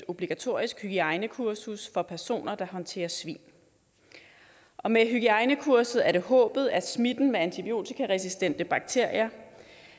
obligatorisk hygiejnekursus for personer der håndterer svin og med hygiejnekurset er det håbet at smitten med antibiotikaresistente bakterier